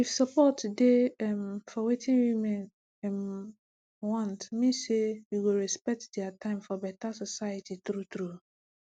if support dey um for wetin women um want mean say we go respect dia time for beta soceity true true